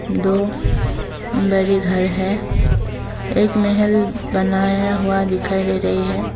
दो बरे घर है एक महल बनाया हुआ दिखाई दे रही हैं।